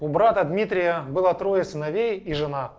у брата дмитрия было трое сыновей и жена